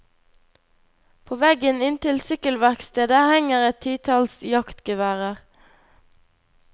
På veggen inntil sykkelverkstedet henger et titalls jaktgeværer.